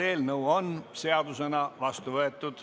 Eelnõu on seadusena vastu võetud.